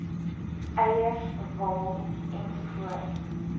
eiers wol ens